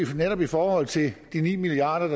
netop i forhold til de ni milliard